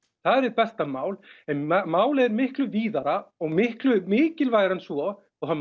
það er hið besta mál en málið er miklu víðara og miklu mikilvægara en svo og það